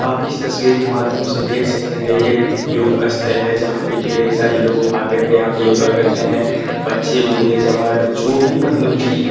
आप इस तस्वीर के माध्यम से देख सकते है ये एक योग स्थल है जहां पे ढेर सारी लोग आकर के यहां पे योगा करते है बच्चे बूढ़े जवान लोग जो भी मतलब की --